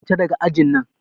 Fita daga ajin nan!